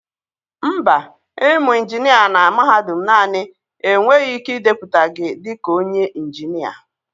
Mba, ịmụ injinia na mahadum naanị enweghị ike ịdepụta gị dị ka onye injinia.